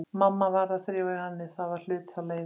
Mamma varð að þrífa hjá henni, það var hluti af leigunni.